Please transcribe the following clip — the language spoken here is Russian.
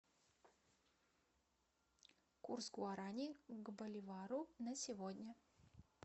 курс гуарани к боливару на сегодня